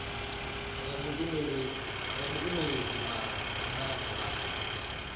nga muimeli wa dzangano la